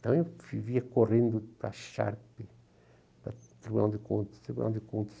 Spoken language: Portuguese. Então eu vivia correndo para a Sharpe, para o Tribunal de Contas, Tribunal de Contas,